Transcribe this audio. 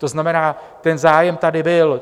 To znamená, ten zájem tady byl.